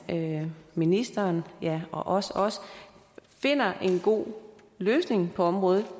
ministeren og ja også også vi finder en god løsning på området